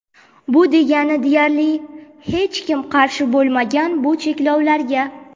Bu degani deyarli hech kim qarshi bo‘lmagan bu cheklovlarga.